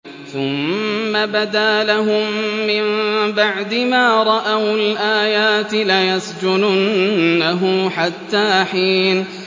ثُمَّ بَدَا لَهُم مِّن بَعْدِ مَا رَأَوُا الْآيَاتِ لَيَسْجُنُنَّهُ حَتَّىٰ حِينٍ